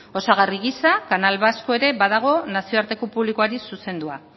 osagarri gisa canal vasco ere badago nazioarteko publikoari zuzendua